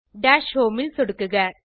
dash home ல் சொடுக்குக